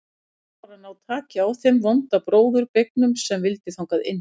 Þá var að ná taki á þeim vonda bróður beygnum sem vildi þangað inn.